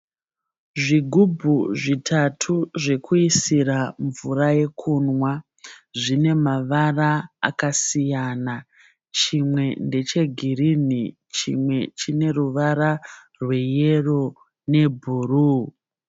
Zvigubhu zvitatu zvekuisira mvura yekunwa. Zvine mavara akasiyana. Chimwe ndechegirinhi chimwe chine ruvara rweyero nebhuruu.